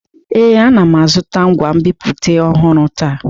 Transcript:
Ee, ana m azụta ngwa nbipute ọhụrụ taa.